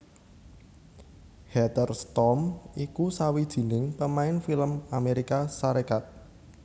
Heather Storm iku sawijining pamain film Amérika Sarékat